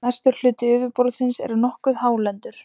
mestur hluti yfirborðsins er nokkuð hálendur